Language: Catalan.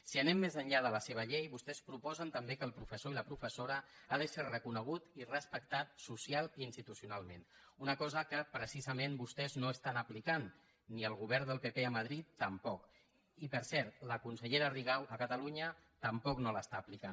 si anem més enllà de la seva llei vostès proposen també que el professor i la professora han de ser reconeguts i respectats socialment i institucionalment una cosa que precisament vostès no estan aplicant i el govern del pp a madrid tampoc i per cert la consellera rigau a catalunya tampoc no l’està aplicant